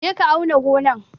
Je ka auna gonan!